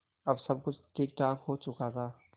अब सब कुछ ठीकठाक हो चुका था